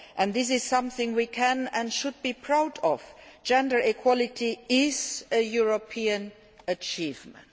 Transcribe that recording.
This is something we can and should be proud of gender equality is a European achievement.